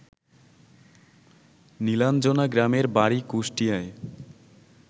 নীলাঞ্জনা গ্রামের বাড়ি কুষ্টিয়ায়